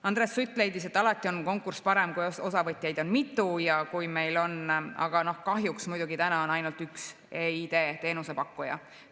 Andres Sutt leidis, et alati on konkurss parem, kui osavõtjaid on mitu, aga kahjuks on täna ainult üks eID‑teenuse pakkuja.